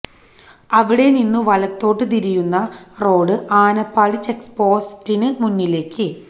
അവിടെ നിന്നു വലത്തോട്ടു തിരിയുന്ന റോഡ് ആനപ്പാടി ചെക്പോസ്റ്റിനു മുന്നിലേക്ക്